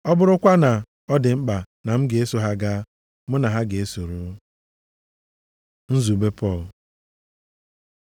Ọ bụrụkwa na ọ dị mkpa na m ga-eso ha gaa, mụ na ha ga-esoro. Nzube Pọl